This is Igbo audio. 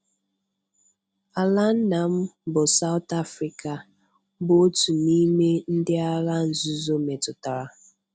Ala nna m, bụ́ South Africa, bụ otu n’ime ndị Agha Nzuzo metụtara.